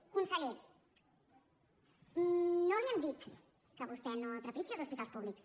conseller no li hem dit que vostè no trepitgi els hospitals públics